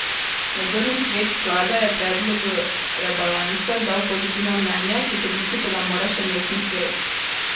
Nadzorni svet sklada je predlogu rebalansa dal pozitivno mnenje, potrditi pa ga mora še mestni svet.